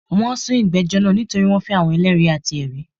Wọ́n n sun ìgbẹ́jọ́ naa nítorí wọ́n fẹ́ àwọn eléèri àti èri